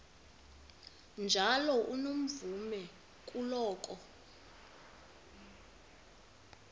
njalo unomvume kuloko